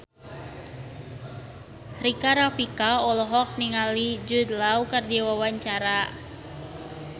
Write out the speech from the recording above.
Rika Rafika olohok ningali Jude Law keur diwawancara